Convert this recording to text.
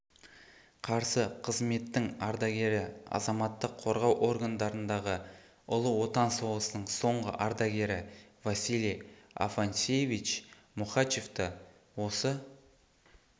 қарсы қызметтің ардагері азаматтық қорғау органдарындағы ұлы отан соғысының соңғы ардагері василий афанасьевич мухачевты осы